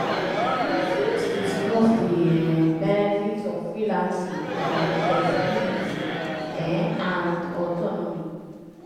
you fit discuss di um benefits of freelancing like flexibility um and autonomy.